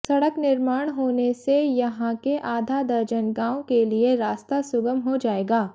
सड़क निर्माण होने से यहां के आधा दर्जन गांव के लिए रास्ता सुगम हो जाएगा